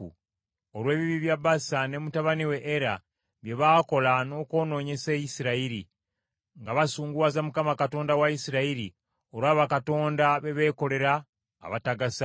olw’ebibi bya Baasa ne mutabani we Era bye baakola n’okwonoonyesa Isirayiri, nga basunguwaza Mukama Katonda wa Isirayiri olwa bakatonda beebeekolera abatagasa.